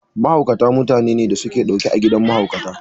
Mahaukata mutanene da su ke ɗaure a gidan mahaukata.